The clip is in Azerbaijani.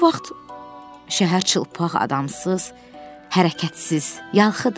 Bu vaxt şəhər çılpaq, adamsız, hərəkətsiz, yalxıdı.